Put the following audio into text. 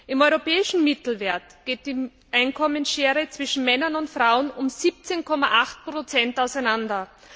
Im europäischen Mittelwert geht die Einkommensschere zwischen Männern und Frauen um 17,8 auseinander.